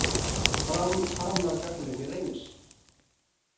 Fram harmar gagnrýni Reynis